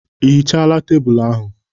Ị hichala tebụlụ ahụ?